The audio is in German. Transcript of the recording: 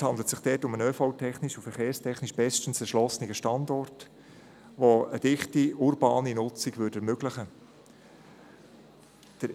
Es handelt sich dort um einen ÖV-technisch und verkehrstechnisch bestens erschlossenen Standort, der eine dichte, urbane Nutzung ermöglichen würde.